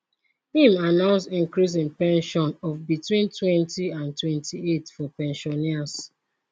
im announce increase in pension of betweentwentyand 28 for pensioners